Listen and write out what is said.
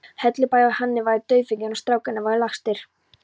Hellubæ að hún væri dauðfegin að strákarnir væru lagstir.